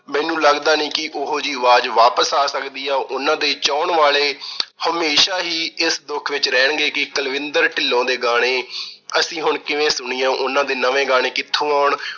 ਮੈਨੂੰ ਲੱਗਦਾ ਨੀ ਕਿ ਉਹੋ ਜੀ ਆਵਾਜ਼ ਵਾਪਸ ਆ ਸਕਦੀ ਆ। ਉਹਨਾਂ ਦੇ ਚਾਹੁਣ ਵਾਲੇ ਹਮੇਸ਼ਾ ਹੀ ਇਸ ਦੁੱਖ ਵਿੱਚ ਰਹਿਣਗੇ ਕਿ ਕੁਲਵਿੰਦਰ ਢਿੱਲੋਂ ਦੇ ਗਾਣੇ ਅਸੀਂ ਹੁਣ ਕਿਵੇਂ ਸੁਣੀਏ। ਉਹਨਾਂ ਦੇ ਨਵੇਂ ਗਾਣੇ ਕਿੱਥੋਂ ਆਉਣ।